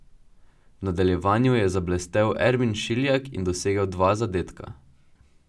V nadaljevanju je zablestel Ermin Šiljak in dosegel dva zadetka.